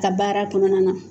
Ka baara kɔnɔna na